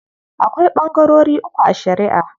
Akwai ɓangarori uku a shariʼa.